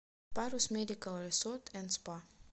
парус медикал ресорт энд спа